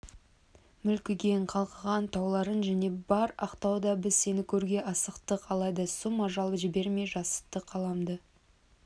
мүлгіген қалғыған тауларың және бар ақтауда біз сені көруге асықтық алайда сұм ажал жібермей жасытты қаламда